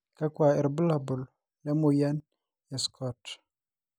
kakua irbulabol le moyian e SCOT?